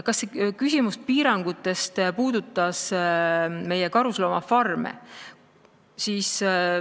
Kas see küsimus piirangutest puudutas meie karusloomafarme?